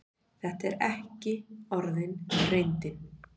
Þetta er ekki orðin reyndin.